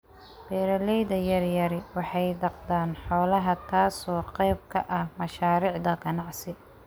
Beeralayda yaryari waxay dhaqdaan xoolaha taasoo qayb ka ah mashaariicda ganacsi.